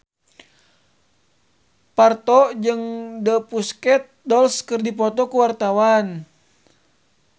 Parto jeung The Pussycat Dolls keur dipoto ku wartawan